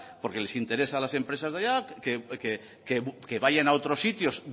porque les interesa a las empresas de allá que vayan a otros sitios